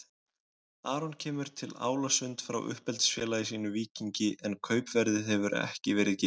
Aron kemur til Álasund frá uppeldisfélagi sínu Víkingi en kaupverðið hefur ekki verið gefið upp.